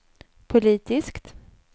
politiskt